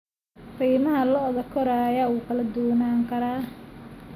Qiimaha lo'da koraya wuu kala duwanaan karaa.